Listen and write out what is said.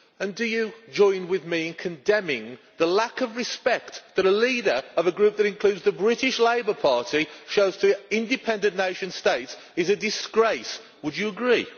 Do you join with me in condemning the lack of respect that a leader of a Group which includes the British Labour Party shows to independent nation states as a disgrace? Would you agree?